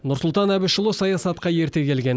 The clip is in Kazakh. нұрсұлтан әбішұлы саясатқа ерте келген